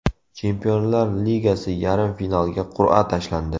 Chempionlar Ligasi yarim finaliga qur’a tashlandi.